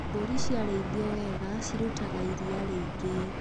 Mbũri ciarĩithio wega cirutaga iria rĩingĩ.